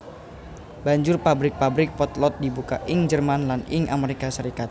Banjur pabrik pabrik potlot dibuka ing Jerman lan ing Amerika Serikat